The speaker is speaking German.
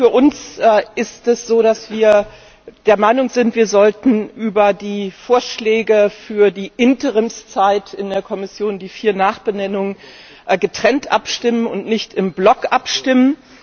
Für uns ist es so, dass wir der Meinung sind, wir sollten über die Vorschläge für die Interimszeit in der Kommission, die vier Nachbenennungen, getrennt und nicht im Block abstimmen.